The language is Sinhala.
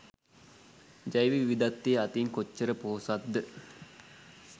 ජෛව විවිධත්වය අතින් කොච්චර පොහොසත් ද?